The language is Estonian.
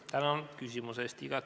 Tänan küsimuse eest!